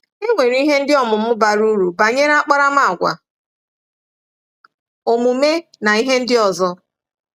E nwere ihe ọmụmụ ndị bara uru banyere akparamàgwà, omume na ihe ndị ọzọ.